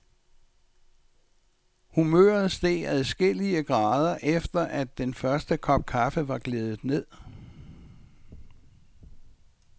Humøret steg adskillige grader efter, at den første kop kaffe var gledet ned.